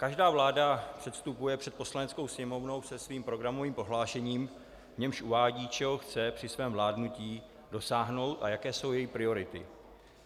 Každá vláda předstupuje před Poslaneckou sněmovnu se svým programovým prohlášením, v němž uvádí, čeho chce při svém vládnutí dosáhnout a jaké jsou její priority.